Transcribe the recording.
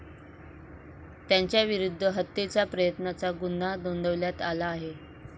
त्यांच्याविरुद्ध हत्येचा प्रयत्नाचा गुन्हा नोंदवण्यात आला आहे.